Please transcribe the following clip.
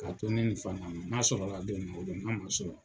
Ka to ne ni n'a sɔrɔ la don min na o do n'a man sɔrɔ